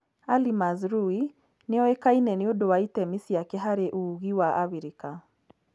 Ali Mazrui nĩ ũĩkaine nĩ ũndũ wa itemi ciake harĩ ũũgĩ wa Abirika.